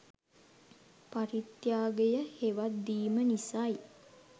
පරිත්‍යාගය හෙවත් දීම නිසායි.